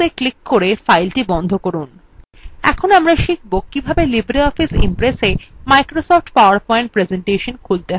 এরপর আমরা শিখব কিভাবে libreoffice impressa microsoft powerpoint presentation খুলতে হয়